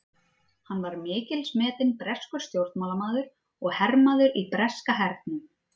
Hann var mikilsmetinn breskur stjórnmálamaður og hermaður í breska hernum.